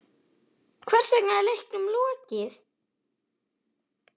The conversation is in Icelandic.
Hvers vegna er leiknum lokið?